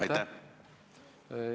Aitäh!